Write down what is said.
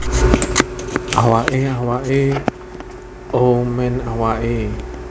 Awake awake O men awake